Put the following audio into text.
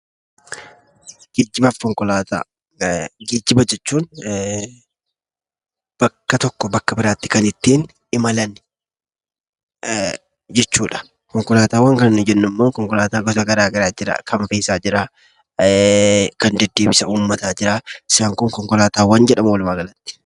Geejjiba jechuun bakka tokkoo bakka biraatti kan ittiin imalan jechuudha. Konkolaataawwan kan nuyi jennu immoo Konkolaataawwan garaa garaatu jira. Kan fe'isaa jira, kan deddeebisa uummataa jira isaan kun konkolaataawwan jedhamu walumaagalatti.